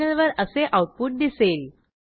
टर्मिनलवर असे आऊटपुट दिसेल